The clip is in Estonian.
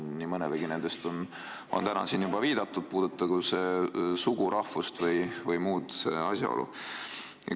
Nii mõnelegi nendest seisukohtadest on täna siin juba viidatud, puudutagu see sugu, rahvust või muud asjaolu.